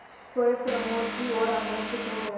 सोए प्रमोद की ओर आकर्षित हो गया